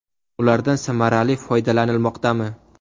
Ulardan samarali foydalanilmoqdami?